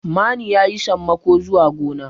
mani ya yi sammako zuwa gona